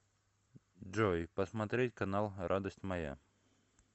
джой посмотреть канал радость моя